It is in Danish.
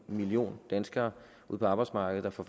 million danskere ude på arbejdsmarkedet der får